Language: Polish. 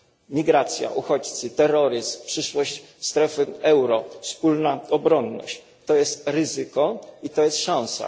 Migracja, uchodźcy, terroryzm, przyszłość strefy euro, wspólna obronność to jest ryzyko i to jest szansa.